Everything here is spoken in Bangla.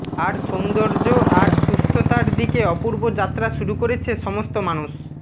আর সৌন্দর্য আর সুস্থতার দিকে অপূর্ব যাত্রা শুরু করেছে সমস্ত মানুষ